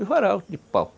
Os varal de pau.